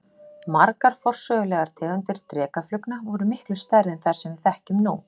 Margar forsögulegar tegundir drekaflugna voru miklu stærri en þær sem við þekkjum nú.